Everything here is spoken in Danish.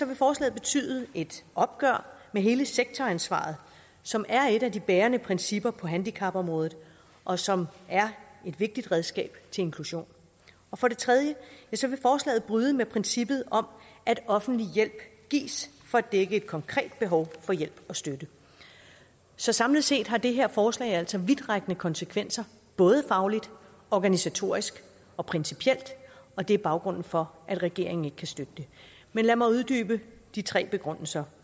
vil forslaget betyde et opgør med hele sektoransvaret som er et af de bærende principper på handicapområdet og som er et vigtigt redskab til inklusion og for det tredje vil forslaget bryde med princippet om at offentlig hjælp gives for at dække et konkret behov for hjælp og støtte så samlet set har det her forslag altså vidtrækkende konsekvenser både fagligt organisatorisk og principielt og det er baggrunden for at regeringen ikke kan støtte det men lad mig uddybe de tre begrundelser